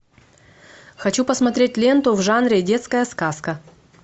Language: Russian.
хочу посмотреть ленту в жанре детская сказка